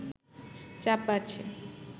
চাপ বাড়ছে